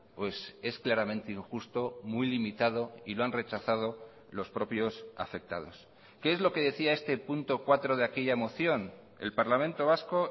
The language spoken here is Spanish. pues es claramente injusto muy limitado y lo han rechazado los propios afectados qué es lo que decía este punto cuatro de aquella moción el parlamento vasco